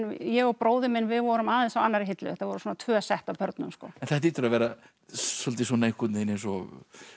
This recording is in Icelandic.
ég og bróðir minn vorum aðeins á annarri hillu þetta voru svona tvö sett af börnum en þetta hlýtur að vera svolítið eins og